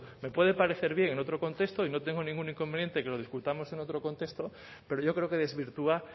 me puede parecer bien en otro contexto y no tengo ningún inconveniente que lo discutamos en otro contexto pero yo creo que desvirtúa